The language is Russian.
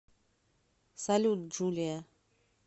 салют джулия